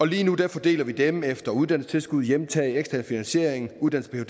lige nu fordeler vi dem efter uddannelsestilskud hjemtaget ekstern finansiering uddannelse af